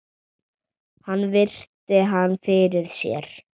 Hann virti hana fyrir sér.